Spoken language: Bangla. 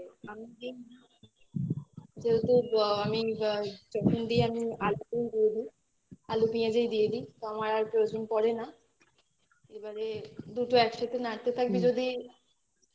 যেহেতু আমি যখন দি আমি অল্প করে আলু পেঁয়াজই দিয়ে দিই তো আমার আর প্রয়োজন পরে না এবারে দুটো একসাথে নাড়তে থাকবি যদি